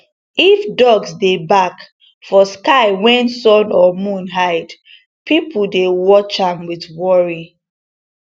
if dogs dey bark for sky when sun or moon hide people dey watch am with worry